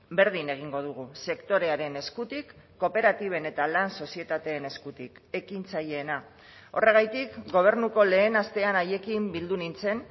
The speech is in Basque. berdin egingo dugu sektorearen eskutik kooperatiben eta lan sozietateen eskutik ekintzaileena horregatik gobernuko lehen astean haiekin bildu nintzen